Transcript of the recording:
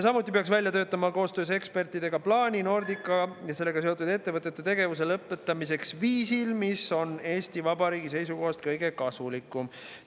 Samuti peaks välja töötama koostöös ekspertidega plaani Nordica ja sellega seotud ettevõtete tegevuse lõpetamiseks viisil, mis on Eesti Vabariigi seisukohast kõige kasulikum.